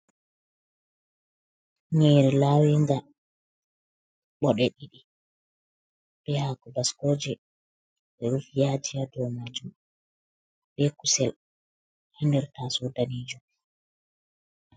Nyiri lawinga ɓoɗe diɗi, ɓe hako baskoje, ɓe rufi yaji ha dou majum, be kusel ha nder tasou danejum.